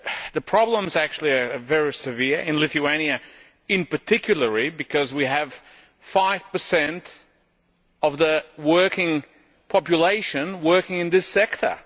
The problems are actually very severe in Lithuania in particular, because we have 5 of the working population working in this sector.